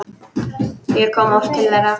Ég kom oft til þeirra.